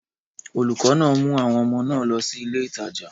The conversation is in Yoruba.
Olùkọ́ náà mú àwọn ọmọ náà lọ sí ilé ìtajà.